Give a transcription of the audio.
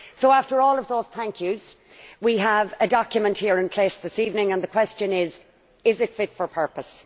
After all of those thank yous' we have a document here in place this evening and the question is is it fit for purpose?